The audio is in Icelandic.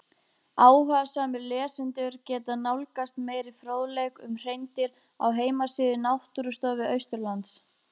Áhugasamir lesendur geta nálgast meiri fróðleik um hreindýr á heimasíðu Náttúrustofu Austurlands.